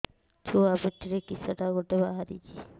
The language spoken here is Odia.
ଛୁଆ ପିଠିରେ କିଶଟା ଗୋଟେ ବାହାରିଛି